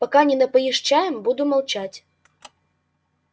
пока не напоишь чаем буду молчать